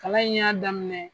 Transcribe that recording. Kalan in y'a daminɛ.